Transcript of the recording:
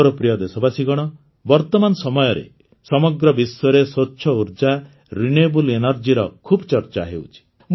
ମୋର ପ୍ରିୟ ଦେଶବାସୀଗଣ ବର୍ତମାନ ସମୟରେ ସମଗ୍ର ବିଶ୍ୱରେ ସ୍ୱଚ୍ଛ ଉର୍ଜା ରିନ୍ୟୁଏବଲ୍ engergyର ଖୁବ୍ ଚର୍ଚ୍ଚା ହେଉଛି